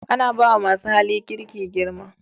Ana ba wa masu hali kirki girma